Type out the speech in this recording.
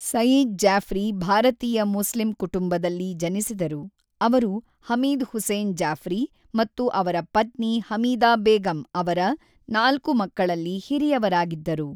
ಸಯೀದ್ ಜಾಫ್ರಿ ಭಾರತೀಯ ಮುಸ್ಲಿಂ ಕುಟುಂಬದಲ್ಲಿ ಜನಿಸಿದರು, ಅವರು ಹಮೀದ್ ಹುಸೇನ್ ಜಾಫ್ರಿ ಮತ್ತು ಅವರ ಪತ್ನಿ ಹಮೀದಾ ಬೇಗಂ ಅವರ ನಾಲ್ಕು ಮಕ್ಕಳಲ್ಲಿ ಹಿರಿಯವರಾಗಿದ್ದರು.